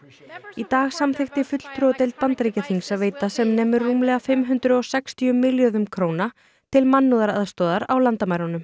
í dag samþykkti fulltrúadeild Bandaríkjaþings að veita sem nemur rúmlega fimm hundruð og sextíu milljörðum króna til mannúðaraðstoðar á landamærunum